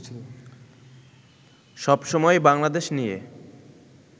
সবসময়ই বাংলাদেশ নিয়ে